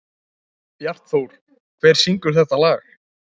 Bjartþór, hver syngur þetta lag?